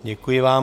Děkuji vám.